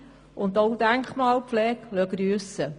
Bürokratie und auch Denkmalpflege lassen grüssen.